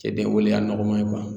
Cɛden wale y'a nɔgɔman ye